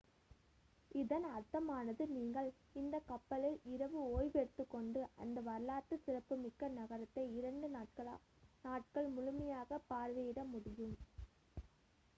இதன் அர்த்தமானது நீங்கள் இந்தக் கப்பலில் இரவு ஓய்வு எடுத்துக்கொண்டு அந்த வரலாற்று சிறப்புமிக்க நகரத்தை இரண்டு நாட்கள் முழுமையாக பார்வையிட முடியும்